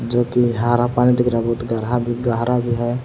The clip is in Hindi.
जो कि हरा पानी दिख रहा बहुत गरहा भी गहरा भी है।